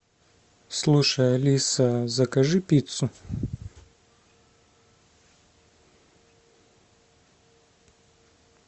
слушай алиса закажи пиццу